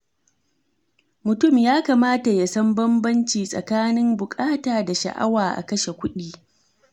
Mutum ya kamata ya san bambanci tsakanin bukata da sha’awa a kashe kuɗi.